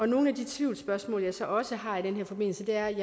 nogle af de tvivlsspørgsmål jeg så også har i den her forbindelse er